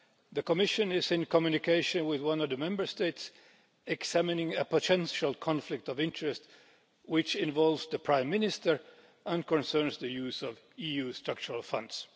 The Commission is in communication with one of the Member States, examining a potential conflict of interests which involves the Prime Minister and concerns the use of EU Structural Funds.